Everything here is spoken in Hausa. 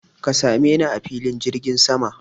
Ka same ni a filin jirgin sama!